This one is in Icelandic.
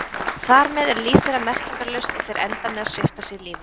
Þar með er líf þeirra merkingarlaust og þeir enda með að svipta sig lífi.